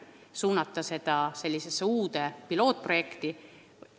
Kas on õige suunata raha sellesse uude pilootprojekti?